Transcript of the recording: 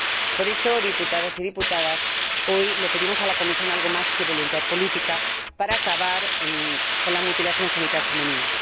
Por esto, diputados y diputadas, hoy le pedimos a la Comisión algo más que voluntad política para acabar con la mutilación genital femenina.